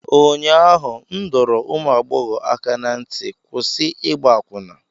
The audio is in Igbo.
ụnyaahụ m dọrọ ụmụ agbọghọ aka ná ntị, kwụsị ịgba akwụna!